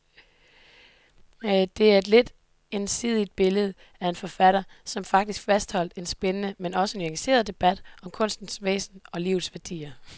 Det er et lidt ensidigt billede af en forfatter, som faktisk fastholder en spændende, men også nuanceret debat om kunstens væsen og livets værdier.